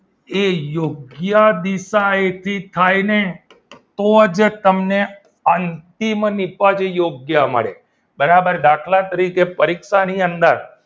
એ યોગ્ય દિશા એથી થાય ને તો જ તમને અંતિમ નીપજ યોગ્ય મળે બરાબર દાખલા તરીકે પરીક્ષાની અંદર